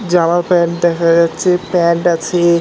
জামা প্যান্ট দেখা যাচ্ছে প্যান্ট আছে--